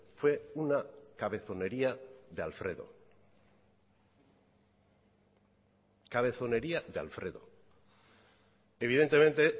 fue una cabezonería de alfredo cabezonería de alfredo evidentemente